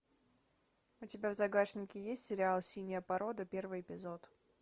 у тебя в загашнике есть сериал синяя порода первый эпизод